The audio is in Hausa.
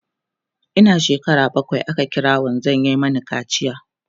Ina shekara bakwai aka kira wanzan ya Mani kaciya